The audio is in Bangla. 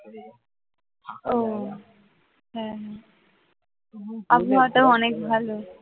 উহ হ্যাঁ আবহাওয়াটা অনেক ভালো